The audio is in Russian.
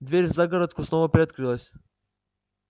дверь в загородку снова приоткрылась